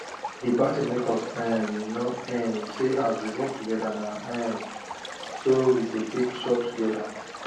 the party make us um know um say as we work together na um so we go take chop together